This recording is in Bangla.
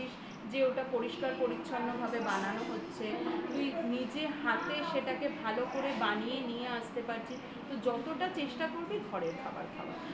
ওটা পরিষ্কার পরিচ্ছন্ন ভাবে বানানো হচ্ছে তুই নিজে হাতে সেটাকে ভালো করে বানিয়ে নিয়ে আসতে পারছি তো যতটা চেষ্টা করবে ঘরের খাবার খাওয়ার